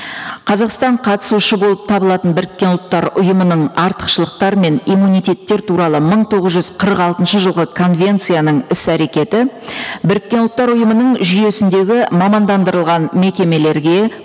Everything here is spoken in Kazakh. қазақстан қатысушы болып табылатын біріккен ұлттар ұйымының артықшылықтары мен иммунитеттер туралы мың тоғыз жүз қырық алтыншы жылғы конвенцияның іс әрекеті біріккен ұлттар ұйымының жүйесіндегі мамандандырылған мекемелерге